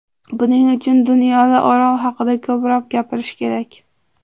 Buning uchun dunyoda Orol haqida ko‘proq gapirish kerak.